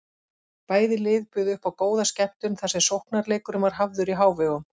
Bæði lið buðu uppá góða skemmtun þar sem sóknarleikurinn var hafður í hávegum.